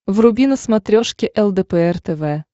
вруби на смотрешке лдпр тв